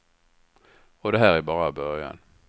Och det här är bara början.